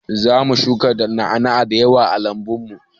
Zamu shuka na'ana'a da yawa a lambun mu.